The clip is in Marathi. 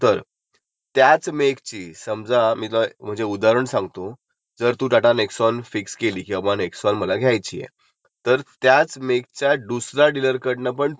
तर कम्पेअर करायला. की बाब ह्यात जर त्याने कुठे जास्त लावले नाहीत ना. आणि ह्याने कुठे कमी लावले नाही केलेतं ना, जर असेल तर तुला एक म्हणजे तुला एक डाऊट तयार होतो आणि तू क्लॅरीफीकेशन घेऊ शकतेस.